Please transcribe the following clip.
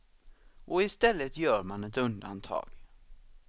Och i stället gör man ett undantag.